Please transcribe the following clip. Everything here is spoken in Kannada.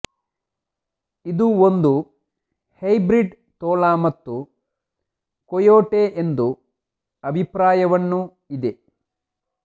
ಇದು ಒಂದು ಹೈಬ್ರಿಡ್ ತೋಳ ಮತ್ತು ಕೊಯೊಟೆ ಎಂದು ಅಭಿಪ್ರಾಯವನ್ನು ಇದೆ